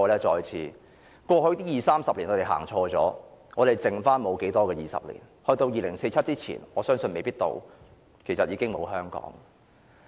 他們在過去二三十年走錯了，他們餘下沒有多少個20年，我相信在2047年前可能已經沒有香港了。